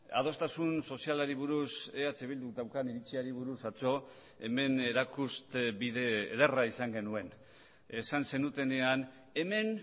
adostasun sozialari buruz eh bilduk daukan iritziari buruz atzo hemen erakuste bide ederra izan genuen esan zenutenean hemen